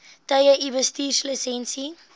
tye u bestuurslisensie